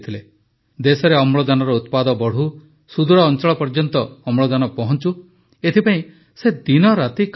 ଦେଶରେ ଅମ୍ଳଜାନର ଉତ୍ପାଦନ ବଢ଼ୁ ସୁଦୂର ଅଞ୍ଚଳ ପର୍ଯ୍ୟନ୍ତ ଅମ୍ଳଜାନ ପହଂଚୁ ଏଥିପାଇଁ ସେ ଦିନରାତି କାମ କରୁଥିଲେ